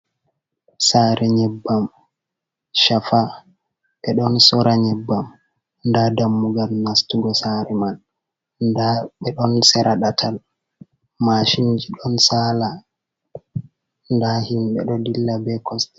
Saare nyebbam shafa ɓe ɗon sora nyebbam nda dammugal nastugo saare man, nda ɓe ɗon sera ɗatal mashinji ɗon saala nda himɓe ɗo dilla be kosɗe.